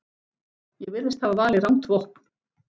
Ég virðist hafa valið rangt vopn.